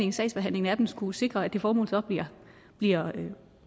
i sagsbehandlingen af dem skulle sikre at det formål bliver